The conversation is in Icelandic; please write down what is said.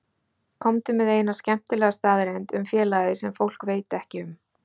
Komdu með eina skemmtilega staðreynd um félagið sem fólk veit ekki um?